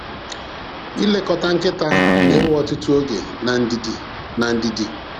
Ilekọta nkịta na-ewe ọtụtụ oge na ndidi. na ndidi.